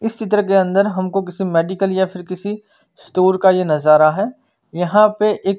इस चित्र के अंदर हमको किसी मेडिकल या फिर किसी स्टोर का नजारा है यहाँ पे एक--